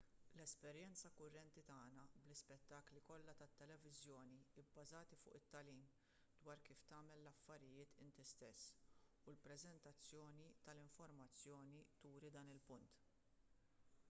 l-esperjenza kurrenti tagħna bl-ispettakli kollha tat-televiżjoni bbażati fuq it-tagħlim dwar kif tagħmel l-affarijiet int stess u l-preżentazzjoni tal-informazzjoni turi dan il-punt